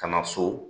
Ka na so